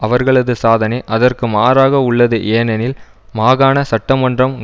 அவர்களது சாதனை அதற்கு மாறாக உள்ளது ஏனெனில் மாகாண சட்டமன்றம்